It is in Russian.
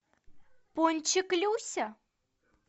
пончик люся